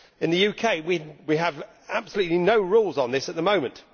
In the UK we have absolutely no rules on this at the moment.